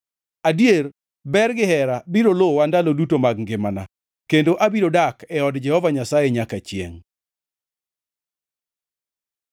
Adier, ber gihera biro luwa ndalo duto mag ngimana, kendo abiro dak e od Jehova Nyasaye nyaka chiengʼ.